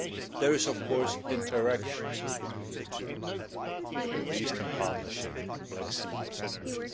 There is, of course, interaction between the two between the Eastern Partnership and the Black Sea Synergy.